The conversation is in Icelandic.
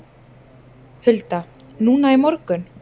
Hulda: Núna í morgun?